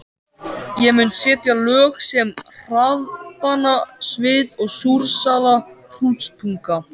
Ég mun setja lög sem harðbanna svið og súrsaða hrútspunga.